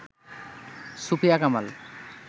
Sufia Kamal